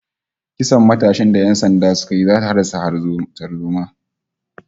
Kisan matashin da ƴan sanda suka yi zata haddasa tarzoma